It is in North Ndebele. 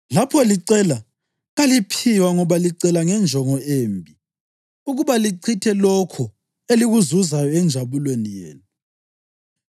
Lapho licela, kaliphiwa ngoba licela ngenjongo embi, ukuba lichithe lokho elikuzuzayo enjabulweni yenu.